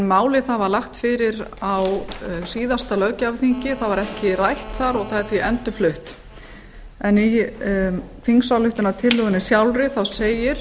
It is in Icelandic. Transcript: málið var lagt fyrir á síðasta löggjafarþingi það var ekki rætt þar og er því endurflutt í þingsályktunartillögunni sjálfri segir